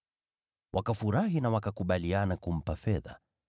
Wakafurahi na wakakubaliana kumpa fedha.